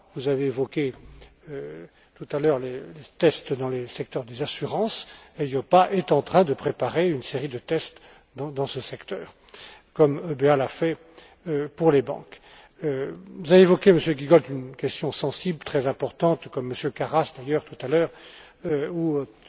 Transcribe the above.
Vous avez évoqué tout à l'heure les tests dans les secteurs des assurances l'EIOPA est en train de préparer une série de tests dans ce secteur, comme l'EBA l'a fait pour les banques. Vous avez évoqué, Monsieur Giegold, une question sensible, très importante, comme également M. Karas d'ailleurs tout à l'heure, ou